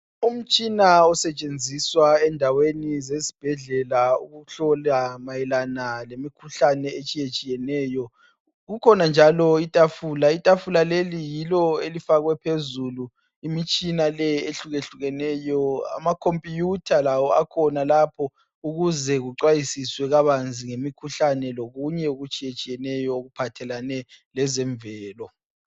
Umtshina osetshenziswa endaweni zesibhedlela wokuhlola mayelana lemikhuhlane etshiyetshiyeneyo. Kukhona njalo itafula elifakwe phezulu imitshina ehlukehlukeneyo. Ama computer lawo akhona lapho ukuze kucwayisiswe kabanzi ngemikhuhlane lokunye okutshiyeneyo ngezemvelo.